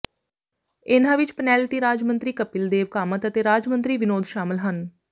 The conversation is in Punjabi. ਇਨ੍ਹਾਂ ਵਿੱਚ ਪਨੈਲਤੀ ਰਾਜ ਮੰਤਰੀ ਕਪਿਲ ਦੇਵ ਕਾਮਤ ਅਤੇ ਰਾਜ ਮੰਤਰੀ ਵਿਨੋਦ ਸ਼ਾਮਲ ਹਨ